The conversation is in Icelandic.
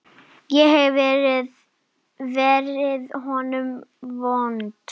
Ég hef verið honum vond.